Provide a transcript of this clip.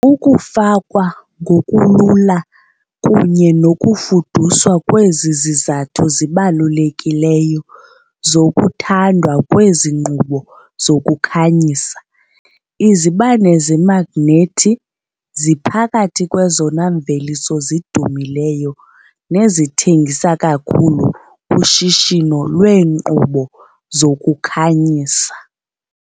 Ukufakwa ngokulula kunye nokufuduswa kwezi zizathu zibalulekileyo zokuthandwa kwezi nkqubo zokukhanyisa. Izibane zemagnethi ziphakathi kwezona mveliso zidumileyo nezithengisa kakhulu kushishino lweenkqubo zokukhanyisa.